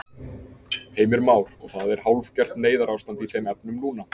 Heimir Már: Og það er hálfgert neyðarástand í þeim efnum núna?